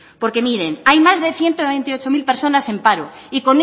porque miren hay más de ciento veintiocho mil personas en paro y